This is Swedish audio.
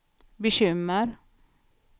bekymmer